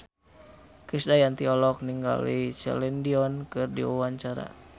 Krisdayanti olohok ningali Celine Dion keur diwawancara